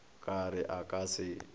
ka re a ka se